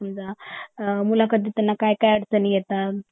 समजा अ मुलाखतीत त्यांना काय अडचणी येतात